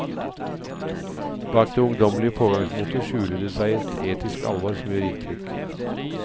Bak det ungdommelige pågangsmotet skjuler det seg et etisk alvor som gjør inntrykk.